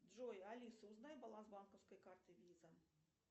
джой алиса узнай баланс банковской карты виза